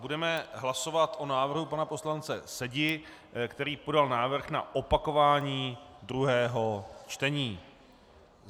Budeme hlasovat o návrhu pana poslance Sedi, který podal návrh na opakování druhého čtení.